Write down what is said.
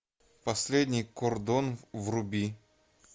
последний кордон вруби